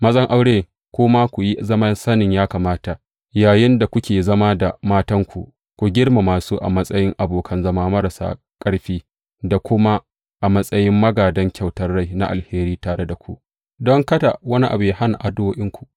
Mazan aure, ku ma, ku yi zaman sanin ya kamata yayinda kuke zama da matanku, ku girmama su a matsayin abokan zama marasa ƙarfi da kuma a matsayin magādan kyautar rai na alheri tare da ku, don kada wani abu yă hana addu’o’inku.